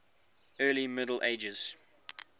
early middle ages